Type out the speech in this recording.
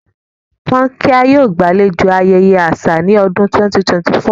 Kankia yoo gbalejo ayẹyẹ aṣa ni ọdun 2024.